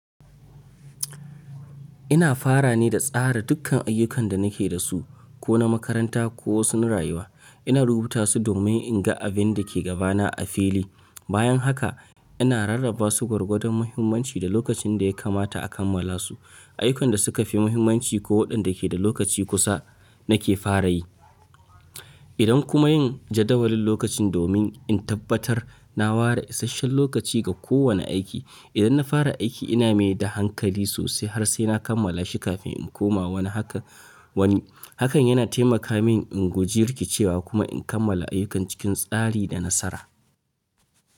Ina fara ne da tsara dukkan ayyukan da nake da su, ko na makaranta ko sun rayuwa. Ina rubuta su domin in ga abin da ke gabana a fili. Bayan haka ina rarraba su gwargwadon muhimmanci da lokacin da ya kamata a kammala su. Ayukan da suka fi muhimmanci ko waɗanda ke da lokaci kusa nake fara yi. Idan kuma yin jadawalin lokacin domin in tabbatar na ware isasshen lokaci ga kowane aiki. Idan na fara aiki ina mai da hankali sosai har sai na kammala shi kafin in koma wani haka wani. Hakan yana taimaka min in guji rikicewa kuma in kammala ayyukan cikin tsari da nasara.